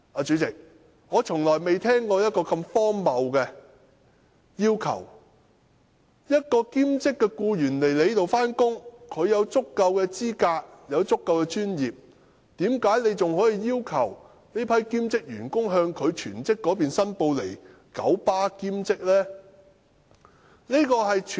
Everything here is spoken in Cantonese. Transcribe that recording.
主席，我從來沒有聽過如此荒謬的要求，如果兼職僱員本身已具備足夠的專業資格，為何九巴仍要求他們向其全職僱主申報在九巴的兼職工作呢？